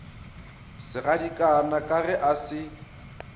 segadikana ka ge a se